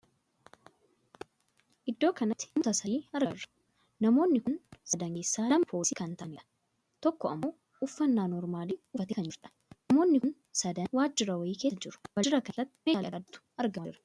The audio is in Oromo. Iddoo kanatti namootaa sadii argaa jirra. namoonni kun sadan keessaa lama poolisii kan taa'adhaniidha. tokko ammoo uffannaa noormaalii uffattee kan jirtuudha. namoonni kun sadan waajjira wayii keessa jiru. waajjira kan keessatti meeshaalee adda addaatu argamaa jira.